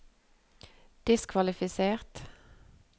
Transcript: diskvalifisert